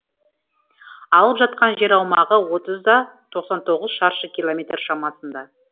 алып жатқан жер аумағы отыз да тоқсан тоғыз шаршы километр шамасында